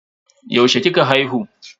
Yaushe kika haihu?